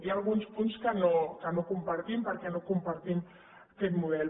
hi ha alguns punts que no compartim perquè no compartim aquest model